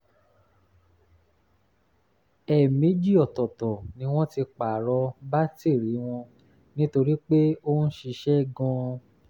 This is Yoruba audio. ẹ̀ẹ̀mejì ọ̀tọ̀ọ̀tọ̀ ni wọ́n ti pààrọ̀ bátìrì wọn nítorí pé ó ń ṣiṣẹ́ gan-an